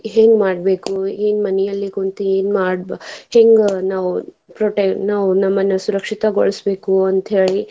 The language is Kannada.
ಹೆಂಗ್ ಮಾಡ್ಬೇಕು ಏನ್ ಮನೇಲಿ ಕುಂತು ಎನ್ ಮಾಡಬ ಹೆಂಗ ನಾವ್ protect ನಾವ್ ನಮ್ಮನ್ನ ಸುರಕ್ಷಿತಗೊಳಸಬೇಕು ಅಂತ ಹೇಳಿ.